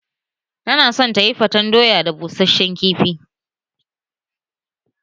Tana son tayifaten doya da busheshen kifi